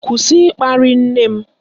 Kwụsị ịkparị nne m!